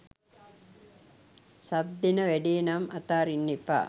sub දෙන වැඩේ නම් අතාරින්න එපා